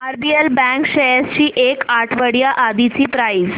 RBL bank shares ची एक आठवड्या आधीची प्राइस